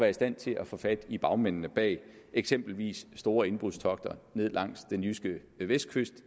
i stand til at få fat i bagmændene bag eksempelvis store indbrudstogter i ned langs den jyske vestkyst